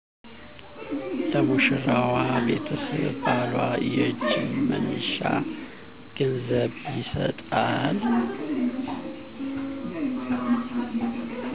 ለሙሸራዋ ቤተሰብ ባሏ የእጅ መንሻ ገንዘብ ይሰጣል